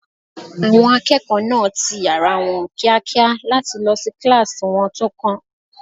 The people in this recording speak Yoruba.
Àwọn akẹ́kọ̀ọ́ náà ti yàrá wọn kíákíá láti lọ sí kíláàsì wọn tó kàn